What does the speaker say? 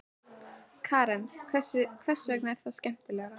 Karen: Hvers vegna er það skemmtilegra?